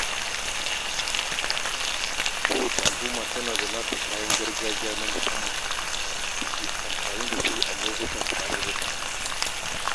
Ko wacce al'umma tana da kayan gargajiya na musamman da take amfani da su a lokacin tarurruka.